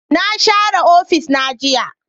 Na share ofis na jiya